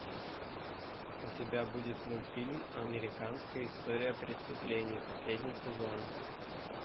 у тебя будет мультфильм американская история преступлений последний сезон